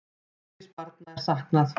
Einungis barna er saknað.